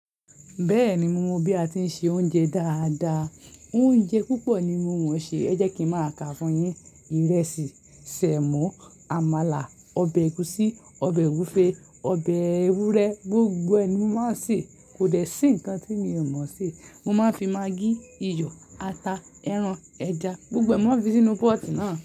Bẹ́ẹ̀ni, mo mọ bí a ti ń se oúnjẹ dáadáa. Oúnjẹ púpọ̀ ni mo mọ̀ ṣe. Ẹ jẹ́ kí ń máa ka fún yín. Ìrẹsì, sẹ̀mó, àmàlà, ọbẹ̀ ẹ̀gúsí, ọbẹ̀ ogunfe, ọbẹ̀ ewúrẹ́ gbogbo ẹ̀ ni mo máa ń ṣe, kò dẹ̀ sí nkan tí mio máṣe, mo máa ń fi maggi, iyọ̀, ata, ẹran, ẹja gbogbo ẹ̀ ni mo máa ń fi sínú pot náà.